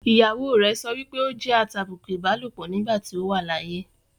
ìyàwó rẹ̀ sọpé ó jẹ́ atàbùkù ìbálòpọ̀ nígbà tí ó wà láyé.